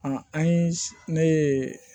an ye ne ye